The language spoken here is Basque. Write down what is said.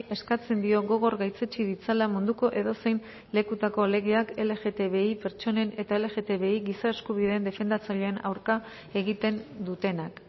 eskatzen dio gogor gaitzetsi ditzala munduko edozein lekutako legeak lgtbi pertsonen eta lgtbi giza eskubideen defendatzaileen aurka egiten dutenak